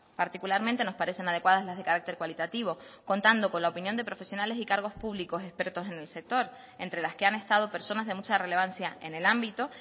particularmente nos parecen adecuadas las de carácter cualitativo contando con la opinión de profesionales y cargos públicos expertos en el sector entre las que han estado personas de mucha relevancia en el ámbito